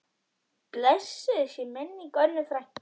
Blessuð sé minning Önnu frænku.